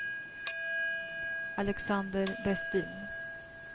Alexander Westin